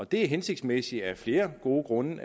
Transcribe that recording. det er hensigtsmæssigt af flere gode grunde